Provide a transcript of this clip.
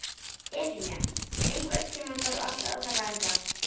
Efemía, einhvern tímann þarf allt að taka enda.